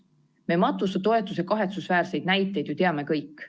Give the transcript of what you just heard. Me matusetoetuse kahetsusväärseid näiteid teame ju kõik.